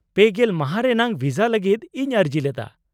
-ᱯᱮᱜᱮᱞ ᱢᱟᱦᱟ ᱨᱮᱱᱟᱜ ᱵᱷᱤᱥᱟ ᱞᱟᱹᱜᱤᱫ ᱤᱧ ᱟᱹᱨᱡᱤ ᱞᱮᱫᱟ ᱾